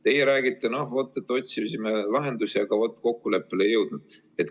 Teie räägite, et otsisime lahendusi, aga kokkuleppele ei jõudnud.